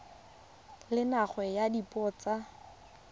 le nngwe ya dipuo tsa